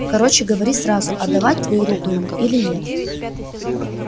короче говори сразу отдавать твою руку ему или нет